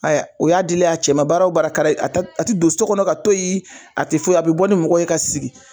o y'a dilen ye a cɛ ma, baara o baara ka d'a ye, a ti don so kɔnɔ ka to yen, a tɛ foyi, a bi bɔ ni mɔgɔw ye ka sigi.